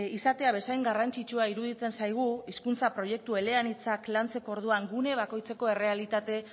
izatea bezain garrantzitsua iruditzen zaigu hizkuntza proiektu eleanitzak lantzeko orduan gune bakoitzeko errealitate